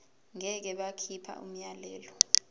ngeke bakhipha umyalelo